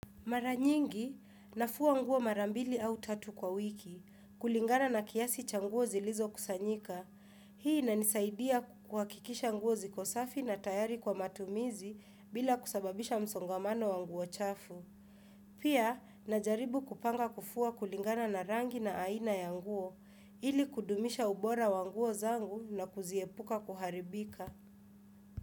Mara nyingi nafua nguo marambili au tatu kwa wiki, kulingana na kiasi cha nguo zilizo kusanyika. Hii inanisaidia kuhakikisha nguo ziko safi na tayari kwa matumizi bila kusababisha msongamano wa nguo chafu. Pia najaribu kupanga kufua kulingana na rangi na aina ya nguo ili kudumisha ubora wa nguo zangu na kuziepuka kuharibika.